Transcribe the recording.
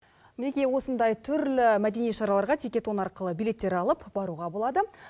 мінекей осындай түрлі мәдени шараларға тикетон арқылы билеттер алып баруға болады